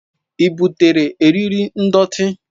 Ị butere eriri ndọtị?